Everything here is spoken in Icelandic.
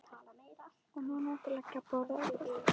Og núna máttu leggja á borð ef þú vilt.